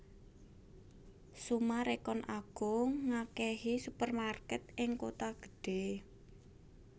Summarecon Agung ngakehi supermarket ning kuto gedhe